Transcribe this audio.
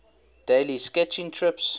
daily sketching trips